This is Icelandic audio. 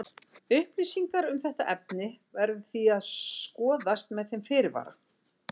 Upplýsingar um þetta efni verður því að skoðast með þeim fyrirvara.